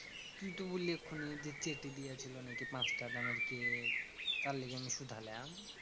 তুই তো বললি এক্ষুনি যে, চেটে দিয়েছিলো নাকি পাঁচটাকা দামের কেক? তার লেগে আমি শুধালাম।